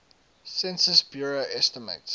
census bureau estimates